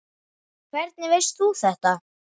En hvernig veist þú þetta?